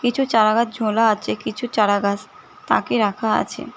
কিছু চারাগাছ ঝোলা আছে কিছু চারাগাছ তাকে রাখা আছে।